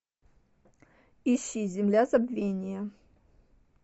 ищи земля забвения